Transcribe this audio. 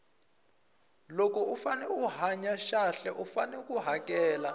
loko u fane u hanya xahle u fane u hakela